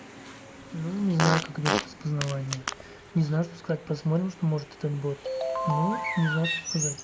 ну не знаю как идёт распознавание не знаю что сказать посмотрим что может этот бот ну не знаю что сказать